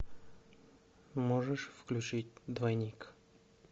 можешь включить двойник